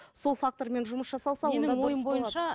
сол фактормен жұмыс жасалса